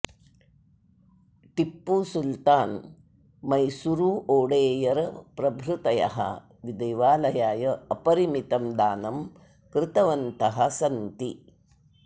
टिप्पुसुल्तान् मैसूरुओडेयर प्रभृतयः देवालयाय अपरिमितं दानं कृतवन्तः सन्ति